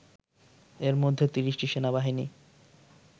এরমধ্যে ৩০টি সেনাবাহিনী